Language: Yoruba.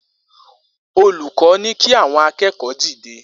Olukọ ni ki awọn akẹẹkọ dide